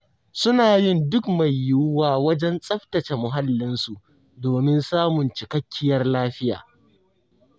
Suna yin duk mai yuwuwa wajen tsaftace muhallinsu, domin samun cikakkiyar lafiya.